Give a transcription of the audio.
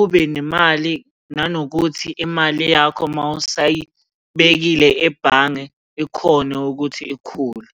ube nemali, nanokuthi imali yakho uma usayibekile ebhange ikhone ukuthi ikhule.